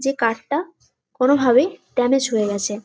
এই কাঠটা কোনভাবে ড্যামেজ হয়ে গেছে।